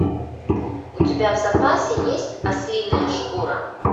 у тебя в запасе есть ослиная шкура